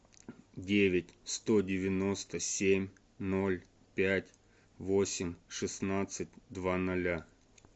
девять сто девяносто семь ноль пять восемь шестнадцать два ноля